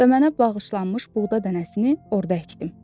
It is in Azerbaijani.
və mənə bağışlanmış buğda dənəsini orda əkdim.